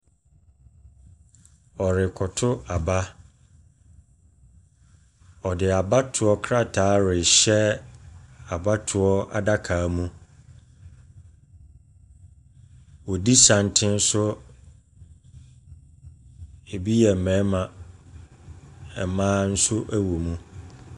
Ɔrekɔ to aba, ɔde abatoɔ krataa rehyɛ abatoɔ adaka mu. Ɔdi santene so, ɛbi yɛ mmarima, mmaa nso wɔ mu.